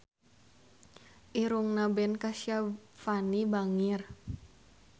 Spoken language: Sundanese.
Irungna Ben Kasyafani bangir